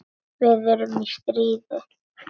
Við erum í stríði.